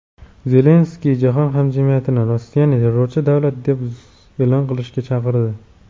Zelenskiy jahon hamjamiyatini Rossiyani "terrorchi davlat" deb e’lon qilishga chaqirdi.